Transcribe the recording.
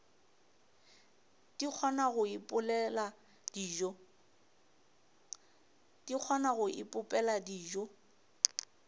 di kgona go ipopela dijo